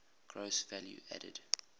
gross value added